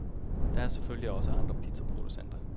Der er selvfølgelig også andre pizzaproducenter.